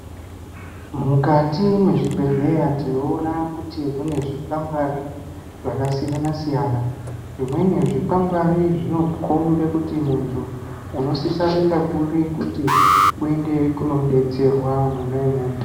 Mukati me zvibhedhleya tinoona kuti mune zvikwangwari zvaka siyana siyana zvimweni zvi kwangwari zvino kumbe kuti muntu uno sisa kuenda kuri kuti uende ko detserwa mona imomo.